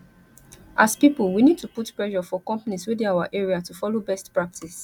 as pipo we need to put pressure for companies wey dey our area to follow best practice